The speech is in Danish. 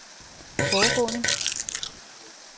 foregående